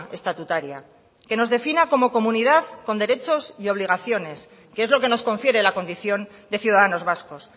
estatutaria que nos defina como comunidad con derechos y obligaciones que es lo que nos confiere la condición de ciudadanos vascos